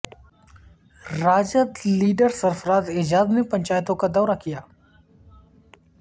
RJD leader Sarfaraz Ejaz نے پنچایتوں کا دورہ کیا